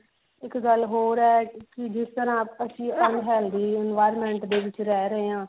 ਇੱਕ ਗੱਲ ਹੋਰ ਹੈ ਕੀ ਜਿਸ ਤਰਾਂ ਆਪਸ ਚ ਹੀ ਫੈਲਦੀ ਹੈ ਜਿਸ ਤਰਾਂ ਦੇ environment ਦੇ ਵਿੱਚ ਰਿਹ ਰਹੇ ਹਾਂ